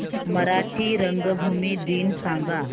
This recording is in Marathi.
मराठी रंगभूमी दिन सांगा